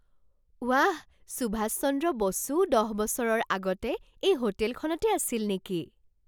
ৱাহ! সুভাষ চন্দ্ৰ বসুও দহ বছৰৰ আগতে এই হোটেলখনতে আছিল নেকি?